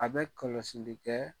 A bɛ kɔlɔsili kɛ.